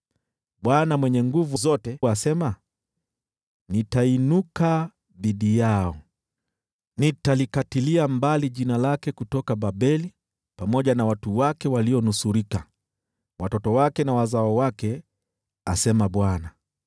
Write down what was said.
Bwana Mwenye Nguvu Zote asema, “Nitainuka dhidi yao, nitalikatilia mbali jina lake kutoka Babeli pamoja na watu wake walionusurika, watoto wake na wazao wake,” asema Bwana .